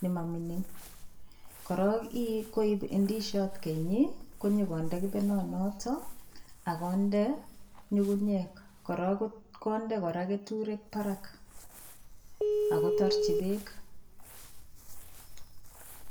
ne ma mining. Korok ii, koip indisiot keny ii konyogonde kepenonotok ak konde nyungunyek, kora konde kora keturek barak ak kotarchi beek.